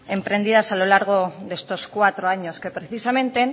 emprendidas a lo largo de estos cuatro años que precisamente